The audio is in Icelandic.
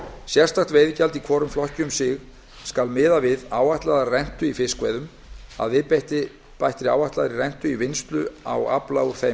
sérstakt veiðigjald í hvorum flokki um sig skal miða við áætlaða rentu í fiskveiðum að viðbættri áætlaðri rentu í vinnslu á afla úr þeim